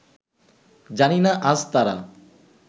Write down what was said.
জানি না আজ তারা